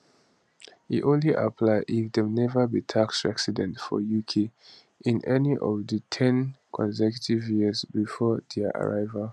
e only apply if dem never be tax resident for uk in any of di ten consecutive years before dia arrival